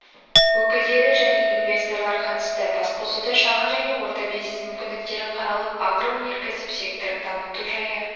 өкілдері және инвесторлар қатысты басқосуда шағын және орта бизнес мүмкіндіктері қаралып агроөнеркәсіп секторын дамыту жайы